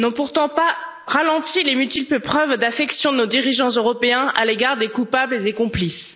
n'ont pourtant pas ralenti les multiples preuves d'affection de nos dirigeants européens à l'égard des coupables et des complices.